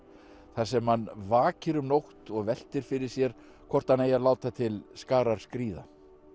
þar sem hann vakir um nótt og veltir fyrir sér hvort hann eigi að láta til skarar skríða